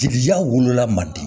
Gilijan wolola mandi